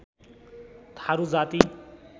थारू जाति